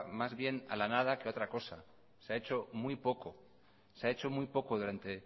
más bien a la nada que otra cosa se ha hecho muy poco se ha hecho muy poco durante